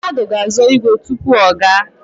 Mmadụ ga-azọ ígwè tupu ọ gaa.